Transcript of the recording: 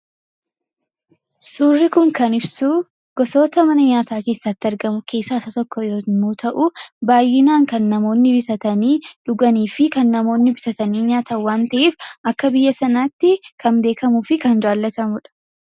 Suurri kun kan ibsu gosoota mana nyaataa keessatti argamu keessaa isa tokko yommuu ta'u, baay'inaan kan namoonni bitatanii dhuganii fi kan namoonni bitatanii nyaatan waan ta'eef, akka biyya sanaatti kan beekamuu fi kan jaallatamudha.